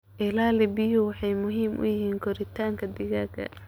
Ilaha biyuhu waxay muhiim u yihiin koritaanka digaagga.